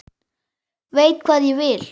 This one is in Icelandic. Veit hvað ég vil.